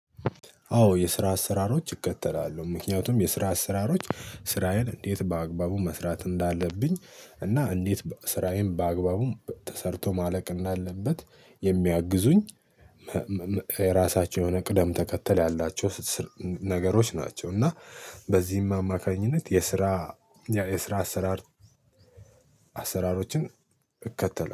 አዎ የስራ አሰራሮች እከተላለሁ ምክንያቱም የስራ አሰራሮች ስራዬን እንዴት በአግባቡ መስራት እንዳለብኝ እና እንዴት ስራዬን በአግባቡ ተሰርቶ ማለቅ እንዳለበት የሚያግዙኝ። ራሳቸው የሆነ ቅደም ተከተል ያላቸው ነገሮች ናቸው። እና በዚህም አማካኝነት የስራ የስራ አሰራር አሰራሮችን እከተላለሁ